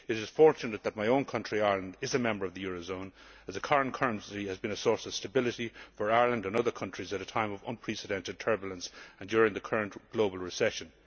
It is fortunate that my own country, Ireland, is a member of the euro zone as the current currency has been a source of stability for Ireland and other countries at a time of unprecedented turbulence and during the current global recession.